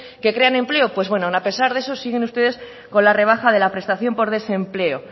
que crean empleo pues bueno aun a pesar de eso siguen ustedes con la rebaja de la prestación por desempleo